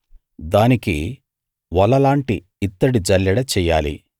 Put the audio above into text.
దానికి వలలాంటి ఇత్తడి జల్లెడ చెయ్యాలి